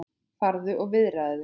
Farðu og viðraðu þig,